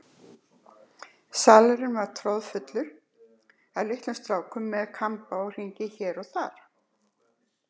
Salurinn var troðinn af litlum strákum með kamba og hringi bæði hér og þar.